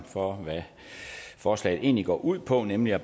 for hvad forslaget egentlig går ud på nemlig at